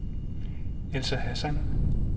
Elsa Hassan